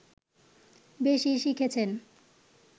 বেশি শিখেছেন